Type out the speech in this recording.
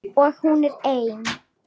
Og hún er ein.